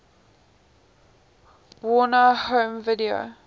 warner home video